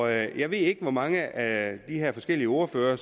jeg ved ikke hvor mange af de forskellige ordførere